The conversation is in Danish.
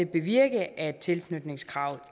bevirke at tilknytningskravet